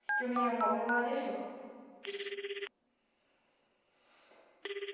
Pediu minha avó, minha avó a deixou.